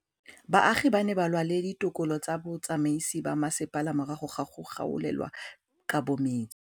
Baagi ba ne ba lwa le ditokolo tsa botsamaisi ba mmasepala morago ga go gaolelwa kabo metsi